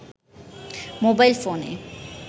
mobile ফোনে